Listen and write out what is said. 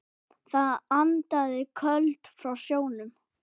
Það andaði köldu frá sjónum.